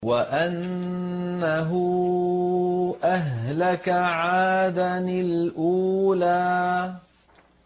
وَأَنَّهُ أَهْلَكَ عَادًا الْأُولَىٰ